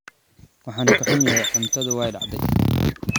Waan ka xumahay, cuntadaydu way dhacday